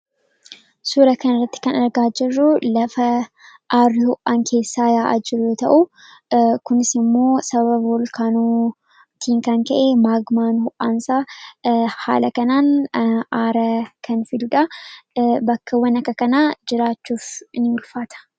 suura kan irratti kan argaa jirruu lafa arhu'aan keessaa yaa'ajirru ta'u kunis immoo saba bolkaanootiin kan ka'ee maagmaan ho'aansaa haala kanaan araa kan fidudaa bakkawwan akka kanaa jiraachuuf in ulfaata